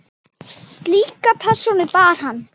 Slíka persónu bar hann.